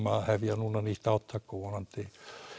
að hefja nýtt átak og vonandi